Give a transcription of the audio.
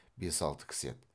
бес алты кісі еді